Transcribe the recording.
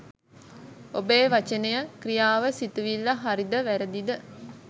ඔබේ වචනය, ක්‍රියාව, සිතිවිල්ල හරි ද වැරුදි ද